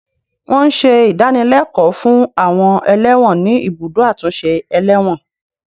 Wọn ń ṣe ìdánilẹ́kọ̀ọ́ fún àwọn ẹlẹ́wọ̀n ní ibùdó àtúnṣe ẹlẹ́wọ̀n